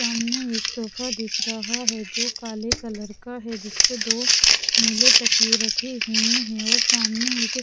सामने एक सोफा दिख रहा है जो काले कलर का है जिस पर दोनीले तकिए रखे हुए हैं और सामने एक--